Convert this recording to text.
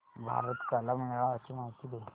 भारत कला मेळावा ची माहिती दे